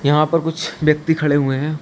यहां पर कुछ व्यक्ति खड़े हुए हैं।